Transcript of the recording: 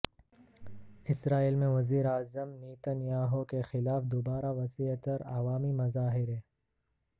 اسرائیل میں وزیر اعظم نیتن یاہو کے خلاف دوبارہ وسیع تر عوامی مظاہرے